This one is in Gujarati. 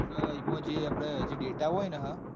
એમાં જે આપડ જે data હોય ને હા એ